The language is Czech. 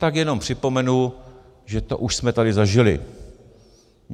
Tak jenom připomenu, že to už jsme tady zažili.